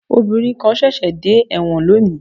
Obìnrin kan ṣẹ̀ṣẹ̀ dé ẹ̀wọ̀n lónìí